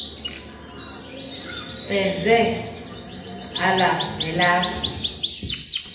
senze elam nelakho